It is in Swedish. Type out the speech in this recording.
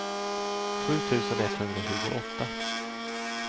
sju tusen etthundratjugoåtta